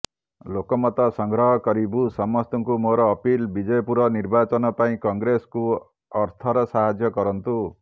ଲୋକମତ ସଂଗ୍ରହ କରିବୁ ସମସ୍ତଙ୍କୁ ମୋର ଅପିଲ ବିଜେପୁର ନିର୍ବାଚନ ପାଇଁ କଂଗ୍ରେସ କୁ ଅର୍ଥର ସାହାଯ୍ୟ କରନ୍ତୁ